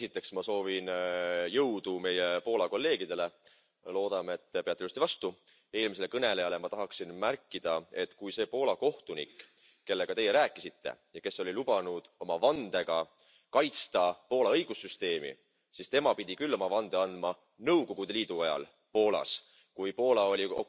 Esiteks ma soovin jõudu meie Poola kolleegidele. Loodame, et peate ilusti vastu. Eelmisele kõnelejale tahaksin öelda, et see Poola kohtunik, kellega teie rääkisite ja kes oli lubanud oma vandega kaitsta Poola õigussüsteemi, pidi küll oma vande andma Nõukogude Liidu ajal Poolas, kui Poola oli